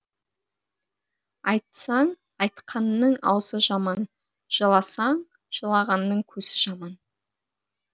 айтсаң айтқанның аузы жаман жыласаң жылағанның көзі жаман